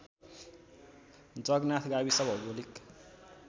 जगनाथ गाविस भौगोलिक